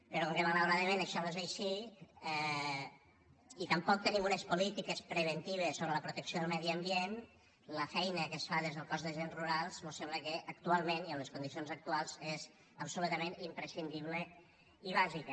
però com que malauradament això no és així i tampoc tenim unes polítiques preventives sobre la protecció del medi ambient la feina que es fa des del cos d’agents rurals mos sembla que actualment i amb les condicions actuals és absolutament imprescindible i bàsica